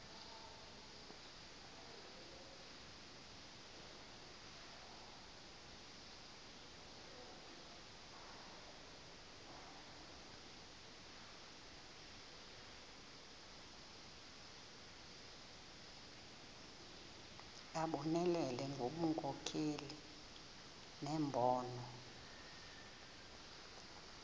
abonelele ngobunkokheli nembono